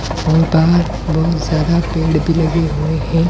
और बाहर बहुत ज्यादा पेड़ भी लगे हुए हैं और --